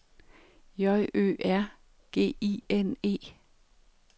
J Ø R G I N E